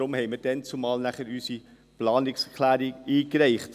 Deshalb reichten wir damals unsere Planungserklärung ein.